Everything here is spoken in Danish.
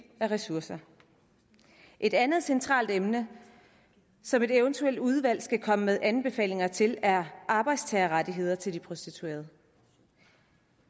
af ressourcer et andet centralt emne som et eventuelt udvalg skal komme med anbefalinger til er arbejdstagerrettigheder til prostituerede